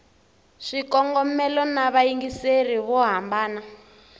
swikongomelo na vayingiseri vo hambana